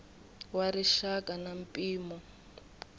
wa rixaka na mpimo eka